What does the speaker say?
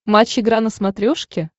матч игра на смотрешке